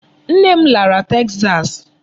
Nne m lara Texas.